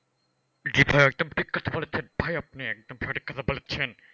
জি ভাই একদম ঠিক কথা বলেছেন, ভাই একদম সঠিক কথা বলেছেন।